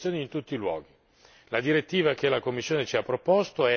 per qualcuno, dobbiamo garantire le stesse condizioni in tutti i luoghi.